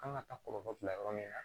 Kan ka taa kɔlɔlɔ bila yɔrɔ min na